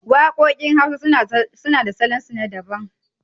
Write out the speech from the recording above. Waƙoƙin hausa suna da salon su na daban